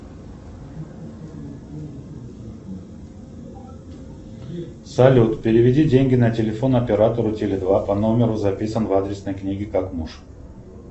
салют переведи деньги на телефон оператору теле два по номеру записан в адресной книге как муж